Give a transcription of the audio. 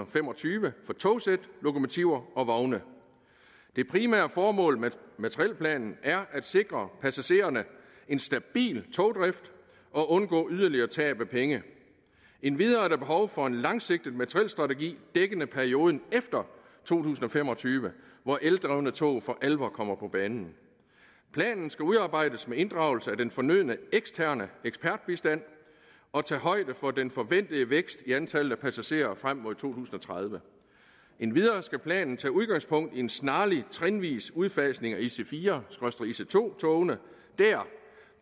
fem og tyve for togsæt lokomotiver og vogne det primære formål med materielplanen er at sikre passagererne en stabil togdrift og undgå yderligere tab af penge endvidere er der behov for en langsigtet materielstrategi dækkende perioden efter to tusind og fem og tyve hvor eldrevne tog for alvor kommer på banen planen skal udarbejdes med inddragelse af den fornødne eksterne ekspertbistand og tage højde for den forventede kraftige vækst i antallet af passagerer frem mod to tusind og tredive endvidere skal planen tage udgangspunkt i en snarlig trinvis udfasning af ic4 ic2 togene der